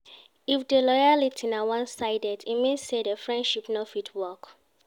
If di loyalty na one sided e mean say de friendship no fit work